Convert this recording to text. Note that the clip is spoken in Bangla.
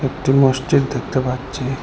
একটি মসজিদ দেখতে পাচ্ছি।